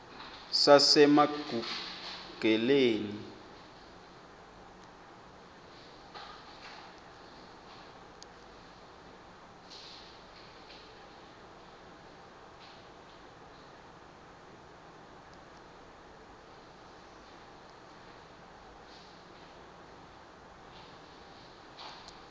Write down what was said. sasemagugeleni